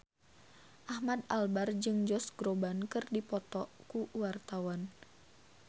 Ahmad Albar jeung Josh Groban keur dipoto ku wartawan